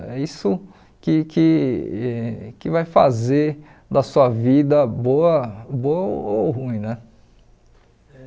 É isso que que que vai fazer da sua vida boa boa ou ruim, né?